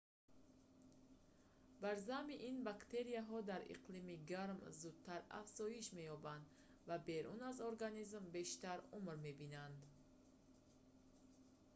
бар замми ин бактерияҳо дар иқлими гарм зудтар афзоиш меёбанд ва берун аз организм бештар умр мебинанд